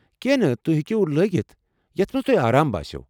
كیہنہ نہٕ، تُہۍ ہٮ۪کیو لٲگتھ یتھ منٛز تۄہہِ آرام باسِوٕ ۔